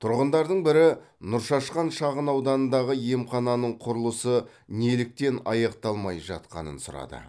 тұрғындардың бірі нұршашқан шағынауданындағы емхананың құрылысы неліктен аяқталмай жатқанын сұрады